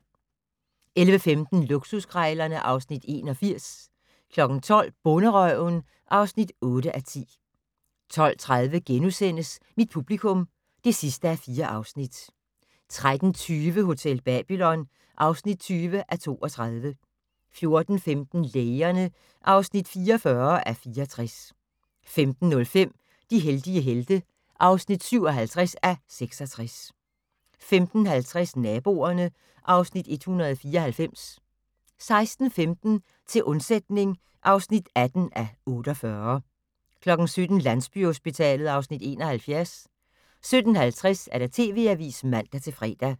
11:15: Luksuskrejlerne (Afs. 81) 12:00: Bonderøven (8:10) 12:30: Mit publikum (4:4)* 13:20: Hotel Babylon (20:32) 14:15: Lægerne (44:64) 15:05: De heldige helte (57:66) 15:50: Naboerne (Afs. 194) 16:15: Til undsætning (18:48) 17:00: Landsbyhospitalet (Afs. 71) 17:50: TV Avisen (man-fre)